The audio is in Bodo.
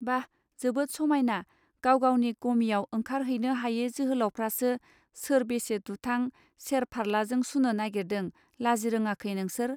बाह जोबोद समायना गाव गावनि गमियाव ओंखार हैनो हायै जोहोलावफ्रासो सोर बेसे दुथां सेर फार्ल्लाजों सुनो नागिरदों लाजिरोङाखै नोंसोर